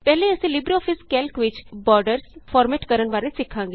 ਪਹਿਲੇ ਅਸੀਂ LibreOffice Calc ਵਿਚ ਬਾਰਡਰਸ ਫਾਰਮੈਟ ਕਰਣ ਬਾਰੇ ਸਿੱਖਾਂਗੇ